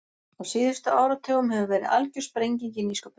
Á síðustu áratugum hefur verið algjör sprenging í nýsköpun.